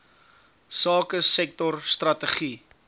sake sektor strategie